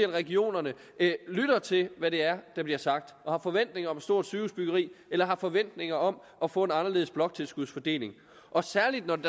regionerne til hvad det er der bliver sagt og har forventninger om et stort sygehusbyggeri eller har forventninger om at få en anderledes bloktilskudsfordeling særlig når det